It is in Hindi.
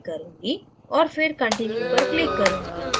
और फिर continue पर click करूँगी